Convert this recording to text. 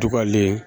Dugalen